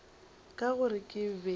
ka gore ke be ke